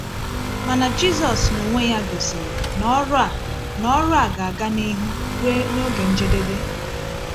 Mana Jisus n’onwe Ya gosiri na ọrụ a na ọrụ a ga-aga n’ihu ruo n’oge njedebe.